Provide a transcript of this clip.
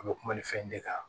A bɛ kuma ni fɛn de kan